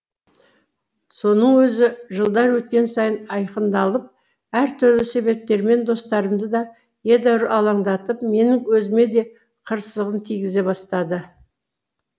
соның өзі жылдар өткен сайын айқындалып әртүрлі себептермен достарымды да едәуір алаңдатып менің өзіме де қырсығын тигізе бастады